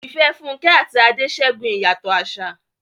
Ìfẹ́ Funke àti Ade ṣẹ́gun ìyàtọ̀ àṣà.